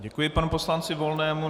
Děkuji panu poslanci Volnému.